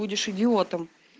будешь идиотом